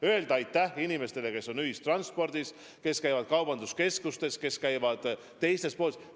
Tuleb öelda aitäh inimestele, kes on ühistranspordis maskiga, kes käivad kaubanduskeskustes ja väiksemates poodides maskiga.